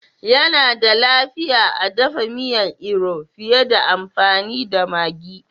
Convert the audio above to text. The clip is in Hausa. Yana da lafiya a dafa miya iru fiye da amfani da maggi